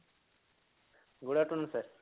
good afternoon sir